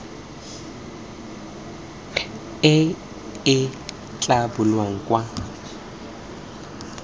e e tla bulwang kwa